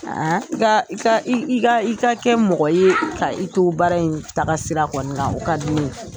i ka i ka i ka i ka kɛ mɔgɔ ye ka i to baara in taga sira kɔni kan o ka di ne ye.